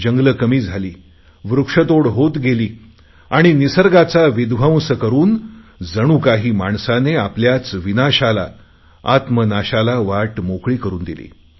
जंगले कमी झाली वृक्षतोड होत गेली आणि निसर्गाचा विध्वंस करुन जणू काही माणसाने आपल्याच विनाशाला आत्मनाशाला वाट मोकळी करुन दिली